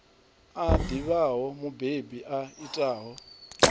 a ḓivhaho mubebi a itaho